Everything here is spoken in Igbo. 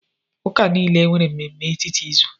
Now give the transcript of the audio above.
Ụka niile nwere mmemme etiti izu.